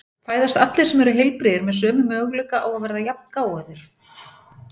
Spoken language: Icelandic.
Fæðast allir sem eru heilbrigðir með sömu möguleika á að verða jafngáfaðir?